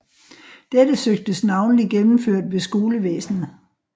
Dette søgtes navnlig gennemført ved skolevæsenet